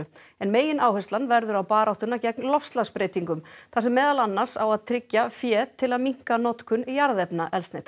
en megináherslan verður á baráttuna gegn loftslagsbreytingum þar sem meðal annars á að tryggja fé til að minnka notkun jarðefnaeldsneytis